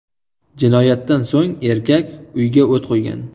Jinoyatdan so‘ng erkak uyga o‘t qo‘ygan.